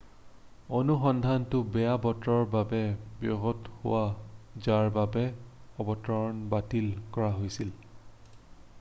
অনুসন্ধানটো বেয়া বতৰৰ বাবে ব্যাহত হয় যাৰ বাবে অৱতৰণ বাতিল কৰা হৈছিল